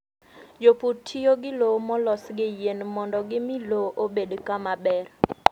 Jopur tiyo gi lowo molos gi yien mondo gimi lowo obed kama ber.